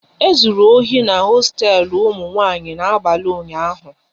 E zụrụ ohi n'hosteelu ụmụ nwanyị n'abalị ụnyaahụ